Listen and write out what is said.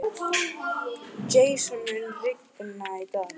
Hún kann að kveikja þér vonina.